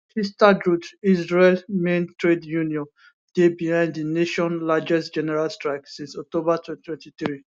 histadrut israel main trade union dey behind di nation largest general strike since october 2023